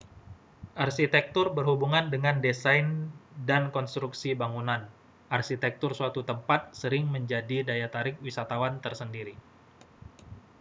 arsitektur berhubungan dengan desain dan konstruksi bangunan arsitektur suatu tempat sering menjadi daya tarik wisatawan tersendiri